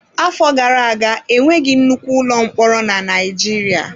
Afọ gara aga enweghị nnukwu ụlọ mkpọrọ na Naịjirịa.